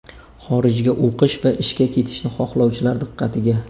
Xorijga o‘qish va ishga ketishni xohlovchilar diqqatiga!